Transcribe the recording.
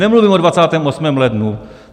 Nemluvím o 28. lednu!